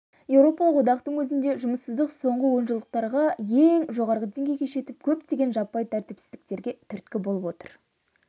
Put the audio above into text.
еуропалық одақтың өзінде жұмыссыздық соңғы онжылдықтардағы ең жоғары деңгейге жетіп көптеген жаппай тәртіпсіздіктерге түрткі болып отыр